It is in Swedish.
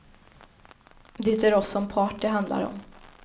Det är oss som part det handlar om.